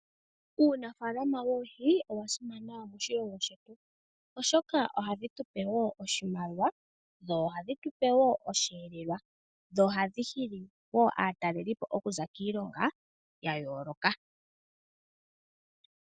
Uunafalama woohi owa simana moshilongo shetu oshoka ohadhi tupe wo oshimaliwa, dho ohadhi tupe wo osheelelwa, dho ohadhi hili wo aatalelipo okuza kiilongo ya yooloka.